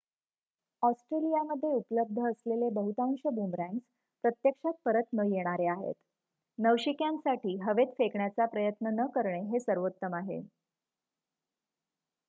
ऑस्ट्रेलियामध्ये उपलब्ध असलेले बहुतांश बुमरॅंग्स प्रत्यक्षात परत न येणारे आहेत नवशिक्यांसाठी हवेत फेकण्याचा प्रयत्न न करणे हे सर्वोत्तम आहे